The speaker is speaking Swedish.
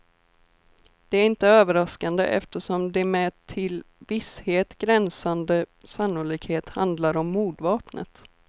Det är inte överraskande, eftersom det med till visshet gränsande sannolikhet handlar om mordvapnet.